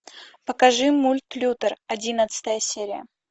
покажи мульт лютер одиннадцатая серия